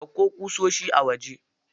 Ɗauko ƙusoshi a waje.